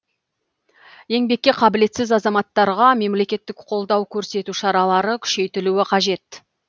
еңбекке қабілетсіз азаматтарға мемлекеттік қолдау көрсету шаралары күшейтілу қажет